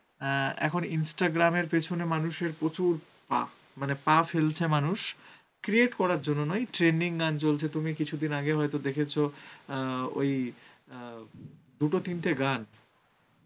অ্যাঁ এখন instagram এর পেছনে মানুষের প্রচুর পা, মানে পা ফেলছে মানুষ, create করার জন্য নয়, trending গান চলছে তুমি কিছুদিন আগেও হয়তো দেখেছো অ্যাঁ ওই অ্যাঁ দুটো তিনটে গান